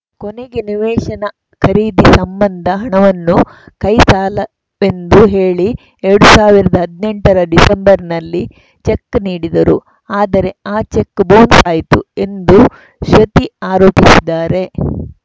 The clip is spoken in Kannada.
ಕೊನೆಗೆ ನಿವೇಶನ ಖರೀದಿ ಸಂಬಂಧ ಹಣವನ್ನು ಕೈ ಸಾಲವೆಂದು ಹೇಳಿ ಎರಡ್ ಸಾವಿರದ ಹದ್ನೆಂಟರ ಡಿಸೆಂಬರ್‌ನಲ್ಲಿ ಚೆಕ್‌ ನೀಡಿದರು ಆದರೆ ಆ ಚೆಕ್‌ ಬೌನ್ಸ್‌ ಆಯಿತು ಎಂದು ಶ್ರುತಿ ಆರೋಪಿಸಿದ್ದಾರೆ